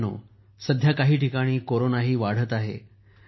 मित्रांनो सध्या काही ठिकाणी कोरोना वाढत आहे